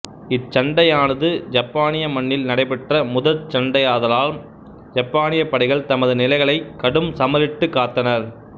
இச்சண்டையானது யப்பானிய மண்ணில் நடைபெற்ற முதற் சண்டையாதாலாம் யப்பானிய படைகள் தமது நிலைகளை கடும்சமரிட்டு காத்தனர்